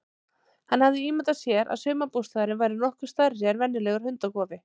Hann hafði ímyndað sér að sumarbústaðurinn væri nokkuð stærri en venjulegur hundakofi.